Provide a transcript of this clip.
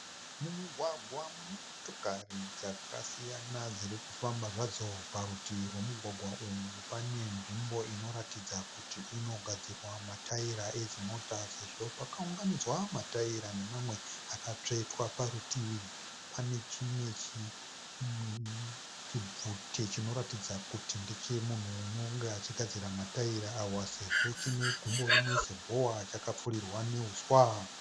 Mumugwagwa mune motokari dzakasiyana dziri kufamba zvadzo. Parutivi rwomugwagwa uyu pane nzvimbo inoratidza kuti inogadzirwa matayira edzimota sezvo pakaunganidzwa matayira nemamwe akatsvetwa parutivi. Pane chimwe chibvute chinoratidza kuti ndechemunhu unonge achigadzira matayira awa sezvo chine gumbo rimwe sehowa chakapfurirwa nehuswa.